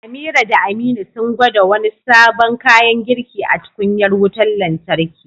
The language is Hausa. Amira da Aminu sun gwada wani sabon kayan girki a tukunyar wutar lantarki.